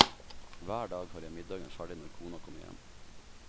Hver dag har jeg middagen ferdig når kona kommer hjem.